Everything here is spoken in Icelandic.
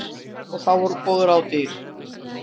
Og þá voru góð ráð dýr.